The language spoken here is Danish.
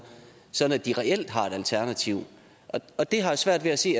så de reelt har et alternativ og det har jeg svært ved at se